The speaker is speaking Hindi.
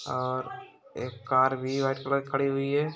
और एक कार भी वाइट कलर की खड़ी हुई है।